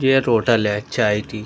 ये एक होटल है चाय टी।